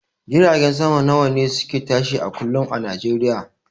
Jiragen sama nawane suke tashi a kullum a nijeriya?